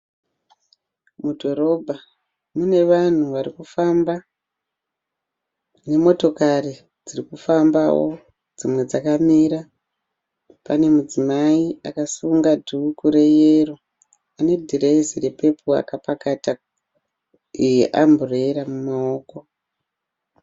Mudhorobha mune vanhu varikufamba nemotokari dziri kufambawo dzimwe dzakamira. Pane mudzimai akasunga dhuku reyero ane dhirezi repepuru akapakata amburera mumaoko.